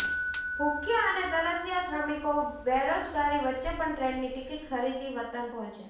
ભુખ્યા અને તરસ્યા શ્રમિકો બેરોજગારી વચ્ચે પણ ટ્રેનની ટિકિટ ખરીદી વતન પહોંચ્યા